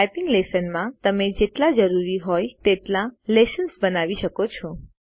typing લેશનમાં તમને જેટલા જરૂરી હોય તેટલા લેશ્ન્સ બનાવી શકો છો